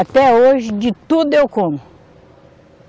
Até hoje, de tudo eu como.